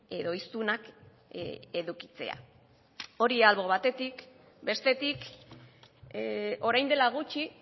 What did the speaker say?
edo hiztunak edukitzea hori albo batetik bestetik orain dela gutxi